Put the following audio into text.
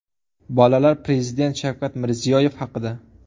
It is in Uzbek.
Bolalar Prezident Shavkat Mirziyoyev haqida .